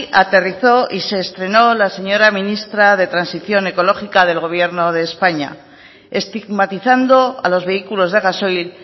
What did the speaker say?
aterrizó y se estrenó la señora ministra de transición ecológica del gobierno de españa estigmatizando a los vehículos de gasoil